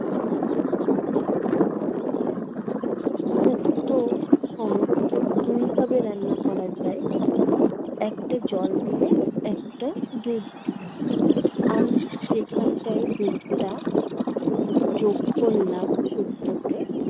তো, সমস্ত দুই ভাবে রান্না করা যায়। একটা জল দিয়ে একটা দুধ দিয়ে। আমি যেখানটায় দুধটা যোগ করলাম শুক্তোতে